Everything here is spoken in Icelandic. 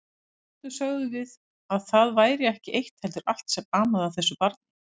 Stundum sögðum við að það væri ekki eitt heldur allt sem amaði að þessu barni.